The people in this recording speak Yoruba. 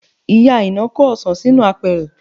Ìyá Aina kó ọsàn sínú apẹ̀rẹ̀